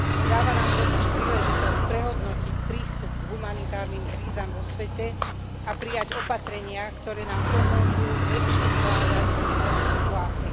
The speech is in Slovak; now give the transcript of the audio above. Dáva nám totiž príležitosť prehodnotiť prístup k humanitárnym krízam vo svete a prijať opatrenia, ktoré nám pomôžu lepšie zvládať krízové situácie.